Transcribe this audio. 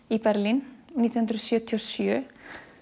i Berlín nítján hundruð sjötíu og sjö